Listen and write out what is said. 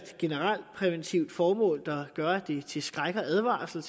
generelt præventivt formål der gør at det er til skræk og advarsel